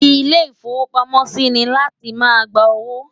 ilé ifowo pàmò sí ní àti má ń gbà owó